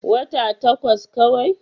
Wata takwas kawai.